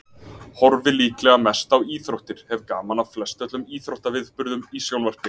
Horfi líklega mest á íþróttir, hef gaman af flestöllum íþróttaviðburðum í sjónvarpi.